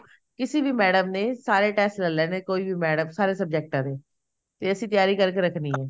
ਕਿਸੇ ਵੀ ਮੈਡਮ ਨੇ ਸਾਰੇ test ਲੈ ਲੇਣੇ ਕੋਈ ਵੀ ਮੈਡਮ ਸਾਰੇ ਸਬਜੈਕਟਾ ਦੀ ਤੇ ਅਸੀਂ ਤਿਆਰੀ ਕਰਕੇ ਰੱਖਣੀ ਐ